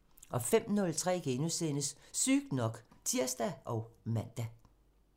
05:03: Sygt nok *(tir og man)